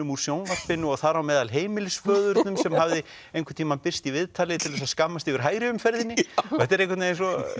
úr sjónvarpinu þar á meðal heimilisföðurnum sem hafði einhvern tíma birst í viðtali til að skammast yfir hægri umferðinni þetta er einhvern veginn